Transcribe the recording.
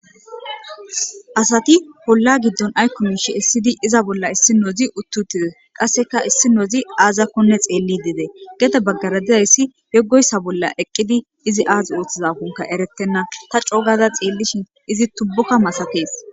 Asati polla giddon aykomishi essidi iza bolla issi noozi uttutide qasseka issi noozi aazakkonne xeelli dede gete baggaradizayssi yoggoyssa bolla eqqidi izi aaz ooththizafonka eretenna ta cogaza xeellishin izi tubbuka masaees.